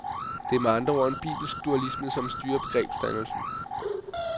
Det er med andre ord en bibelsk dualisme, som styrer begrebsdannelsen.